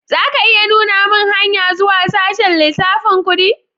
Za ka iya nuna mun hanya zuwa sashen lissafin kudi?